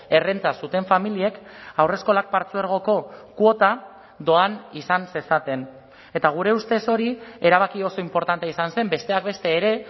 errenta zuten familiek haurreskolak partzuergoko kuota doan izan zezaten eta gure ustez hori erabaki oso inportantea izan zen besteak beste ere